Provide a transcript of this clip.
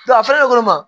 a feere kɔni ma